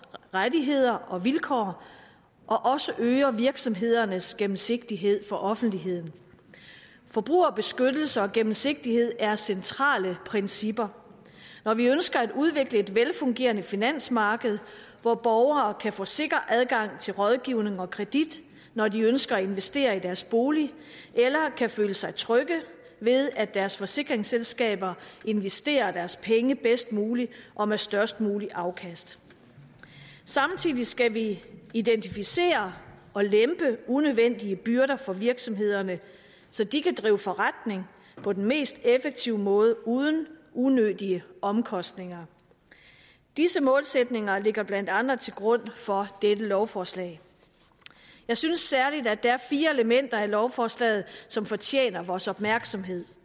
rettigheder og vilkår og også øger virksomhedernes gennemsigtighed for offentligheden forbrugerbeskyttelse og gennemsigtighed er centrale principper når vi ønsker at udvikle et velfungerende finansmarked hvor borgere kan få sikker adgang til rådgivning og kredit når de ønsker at investere i deres bolig eller kan føle sig trygge ved at deres forsikringsselskaber investerer deres penge bedst muligt og med størst muligt afkast samtidig skal vi identificere og lempe unødvendige byrder for virksomhederne så de kan drive forretning på den mest effektive måde uden unødige omkostninger disse målsætninger ligger blandt andre til grund for dette lovforslag jeg synes særligt at der er fire elementer i lovforslaget som fortjener vores opmærksomhed